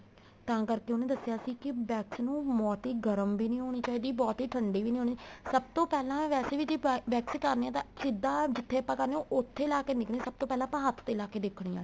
ਤਾਂ ਕਰਕੇ ਉਹਨੇ ਦੱਸਿਆ ਸੀ ਕੀ wax ਨੂੰ ਬਹੁਤੀ ਗਰਮ ਵੀ ਨਹੀਂ ਹੋਣੀ ਚਾਹੀਦੀ ਬਹੁਤੀ ਠੰਡੀ ਵੀ ਨਹੀਂ ਹੋਣੀ ਚਾਹੀਦੀ ਸਭ ਤੋਂ ਪਹਿਲਾਂ ਵੈਸੇ ਵੀ ਜ਼ੇ wax ਕਰਵਾਉਦੇ ਹਾਂ ਸਿੱਧਾ ਜਿੱਥੇ ਆਪਾਂ ਕਰਾਦੇ ਹਾਂ ਉੱਥੇ ਲਾਕੇ ਨਹੀਂ ਦੇਖਣੀ ਸਭ ਤੋਂ ਪਹਿਲਾਂ ਆਪਾਂ ਹੱਥ ਤੇ ਲਾਕੇ ਦੇਖਣੀ ਏ